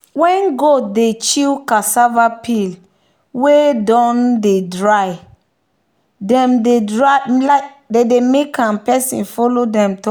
when goat dey chew cassava peel wey don dry them dey like make person follow them talk.